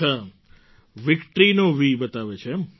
અચ્છા વિક્ટરીનો વી બતાવે છે